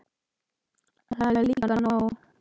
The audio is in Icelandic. Það er líka nóg.